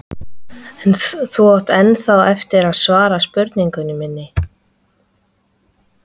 Og þú átt ennþá eftir að svara spurningu minni.